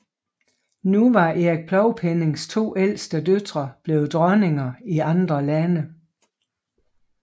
Nu var Erik Plovpennings to ældste døtre blevet dronninger i andre lande